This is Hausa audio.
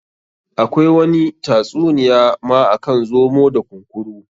Akwai wani ta tsuniya ma akan zomo da kunkuru.